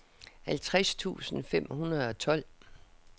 halvtreds tusind fem hundrede og tolv